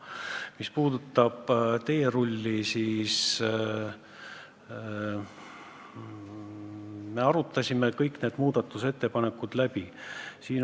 Mis puutub teerulli, siis me arutasime kõik need muudatusettepanekud läbi.